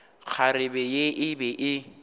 kgarebe ye e be e